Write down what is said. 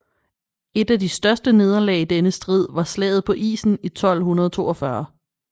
Et af de største nederlag i denne strid var Slaget på isen i 1242